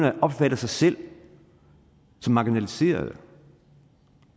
at opfatte sig selv som marginaliseret